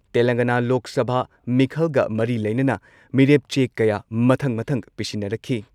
ꯇꯦꯂꯪꯒꯥꯅꯥ ꯂꯣꯛ ꯁꯚꯥ ꯃꯤꯈꯜꯒ ꯃꯔꯤ ꯂꯩꯅꯅ ꯃꯤꯔꯦꯞ ꯆꯦ ꯀꯌꯥ ꯃꯊꯪ ꯃꯊꯪ ꯄꯤꯁꯤꯟꯅꯔꯛꯈꯤ ꯫